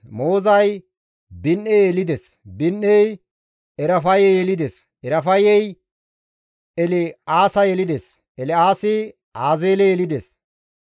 Moozay Bini7e yelides; Bini7ey Erafaye yelides; Erafayey El7aasa yelides; El7aasi Azeele yelides.